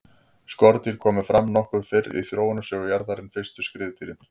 skordýr komu fram nokkuð fyrr í þróunarsögu jarðar en fyrstu skriðdýrin